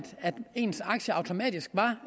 ens aktier automatisk var